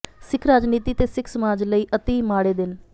ਸਿੱਖ ਰਾਜਨੀਤੀ ਤੇ ਸਿੱਖ ਸਮਾਜ ਲਈ ਅਤਿ ਮਾੜੇ ਦਿਨ